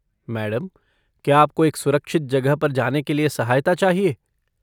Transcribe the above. Madam, क्या आपको एक सुरक्षित जगह पर जाने के लिए सहायता चाहिए?